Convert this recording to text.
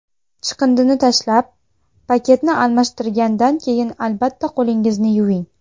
Chiqindini tashlab, paketni almashtirgandan keyin albatta qo‘lingizni yuving.